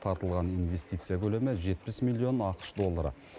тартылған инвестиция көлемі жетпіс миллион ақш доллары